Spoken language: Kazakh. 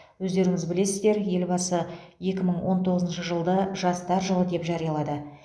өздеріңіз білесіздер елбасы екі мың он тоғызыншы жылды жастар жылы деп жариялады